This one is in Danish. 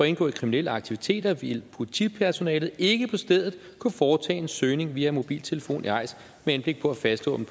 indgå i kriminelle aktiviteter vil politipersonalet ikke på stedet kunne foretage en søgning via mobiltelefon i eis med henblik på at fastslå om